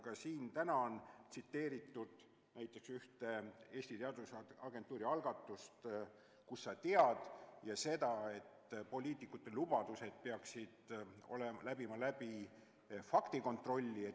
Ka siin täna on mainitud Eesti Teadusagentuuri algatust "Kust sa tead?" ja seda, et poliitikute lubadused peaksid läbi tegema faktikontrolli.